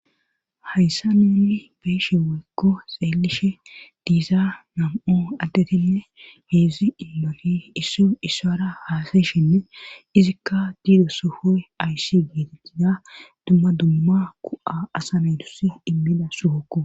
hayssa nenni beeshe weykko xeelishe diiza nam7o addetinne heedzdzi inmoti isso issara haasayshinne izikka diido sufoy ayssi giiti gida dumma dumma ku7a asamedusi immiza sohokko